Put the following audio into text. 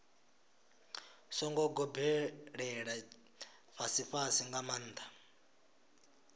songo gobelela fhasifhasi nga maanḓa